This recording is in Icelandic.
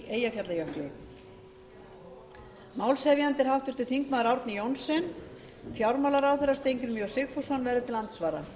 eyjafjallajökli málshefjandi er háttvirtur þingmaður árni johnsen fjármálaráðherra steingrímur j sigfússon verður til andsvara